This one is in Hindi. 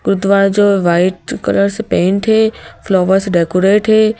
गुरुद्वारा जो वाइट कलर से पेंट है फ्लावर से डेकोरेट है।